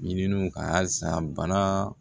Ɲininiw ka halisa bana